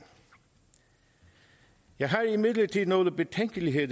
jeg har imidlertid nogle betænkeligheder